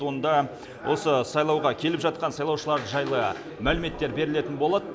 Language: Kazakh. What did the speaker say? онда осы сайлауға келіп жатқан сайлаушылар жайлы мәліметтер берілетін болады